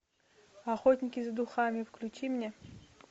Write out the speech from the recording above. охотники за духами включи мне